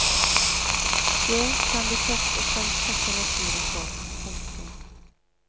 Det kan de først og fremst takke naturen for. punktum